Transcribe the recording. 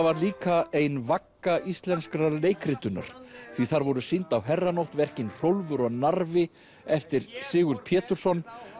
var líka ein vagga íslenskrar leikritunar því þar voru sýnd á herranótt verkin Hrólfur og Narfi eftir Sigurð Pétursson